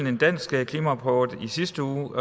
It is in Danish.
en dansk klimarapport i sidste uge